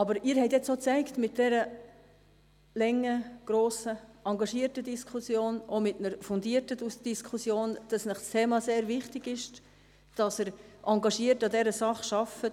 Aber Sie haben mit dieser langen, grossen, engagierten und fundierten Diskussion jetzt auch gezeigt, dass Ihnen das Thema sehr wichtig ist und dass Sie engagiert an dieser Sache arbeiten.